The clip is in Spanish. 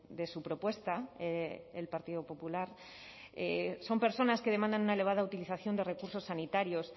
de su propuesta el partido popular son personas que demandan una elevada utilización de recursos sanitarios